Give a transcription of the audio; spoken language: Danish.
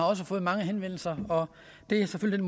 har fået mange henvendelser og det er selvfølgelig